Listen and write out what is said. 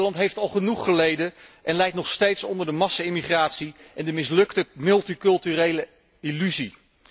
Nederland heeft al genoeg geleden en lijdt nog steeds onder de massa immigratie en de mislukte multiculturele illusie.